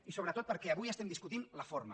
i sobretot perquè avui estem discutint la forma